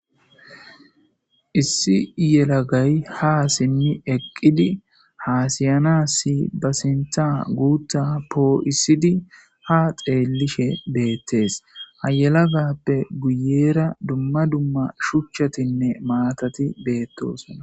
Issi yelagay ha simmi eqqidi haasiyana si ba sintha guuta poo7isidi ha xeellishe beettees ayelagappe guyeera dumma dumma shuchchatinne maatati beettosona.